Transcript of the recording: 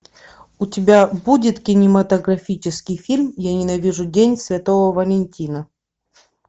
у тебя будет кинематографический фильм я ненавижу день святого валентина